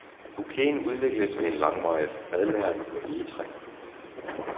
Bouqueten udvikles ved langvarig fadlagring på egetræ.